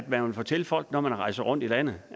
man vil fortælle folk når man rejser rundt i landet